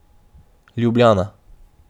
Ljubljana.